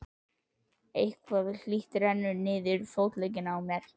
Eitthvað hlýtt rennur niður fótleggina á mér.